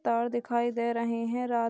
तार दिखाई दे रहे हैं | रात --